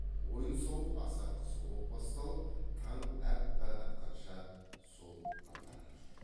ойын сауық аса қызу боп басталып таң аппақ атқанша сол ғындаған жоқ